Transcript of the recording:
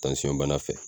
bana fɛ